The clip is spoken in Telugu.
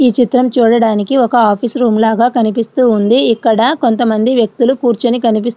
ఈ చిత్రము చూడడానికి ఒక ఆఫీసు రూమ్ లాగా కనిపిస్తుంది. ఇక్కడ కొంతమంది వ్యక్తులు కూర్చుని కనిపిస్తూ --